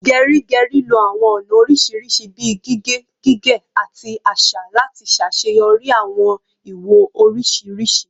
Geri Geri lo awọn ọna oriṣiriṣi bii gige, gige, ati aṣa lati ṣaṣeyọri awọn iwo oriṣiriṣi